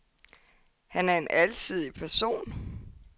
Han er en alsidig person.